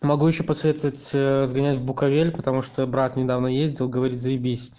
могу ещё посоветовать ээ сгонять в буковель потому что брат недавно ездил говорит заебись